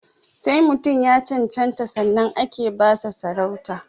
Sai mutum ya cancanta sannan ake ba sa sarauta